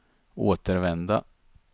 återvända